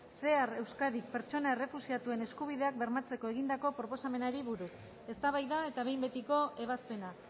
cear euskadik pertsona errefuxiatuen eskubideak bermatzeko egindako proposamenari buruz eztabaida eta behin betiko ebazpena